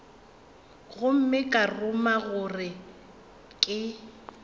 gomme ka ruma gore ke